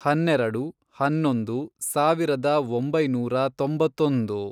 ಹನ್ನೆರೆಡು, ಹನ್ನೊಂದು, ಸಾವಿರದ ಒಂಬೈನೂರ ತೊಂಬತ್ತೊಂದು